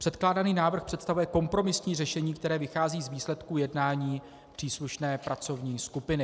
Předkládaný návrh představuje kompromisní řešení, které vychází z výsledků jednání příslušné pracovní skupiny.